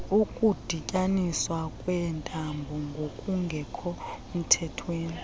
ukudityaniswa kweentambo ngokungekhomthethweni